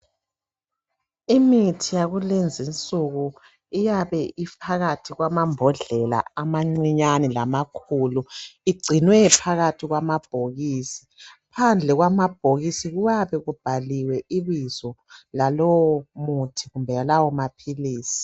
Imithi yakulezi insuku iyabe iohakathi kwamambodlela amancinyane lamakhulu igcinwe phakathi kwamabhokisi. Phandle kwamabhokisi kuyabe kubhaliwe ibizo lalowo muthi kumbe lawo maphilisi.